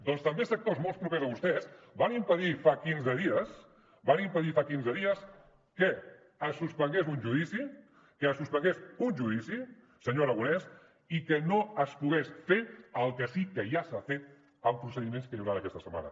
doncs també sectors molt propers a vostès van impedir fa quinze dies que es suspengués un judici que es suspengués un judici senyor aragonés i que no es pogués fer el que sí que ja s’ha fet amb procediments que hi hauran aquesta setmana